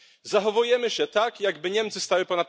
Zachowujemy się tak, jakby Niemcy stały ponad prawem.